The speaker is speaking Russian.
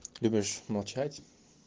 любишь молчать